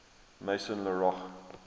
maison la roche